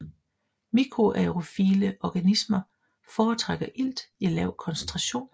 Mikroaerofile organismer foretrækker ilt i lav koncentration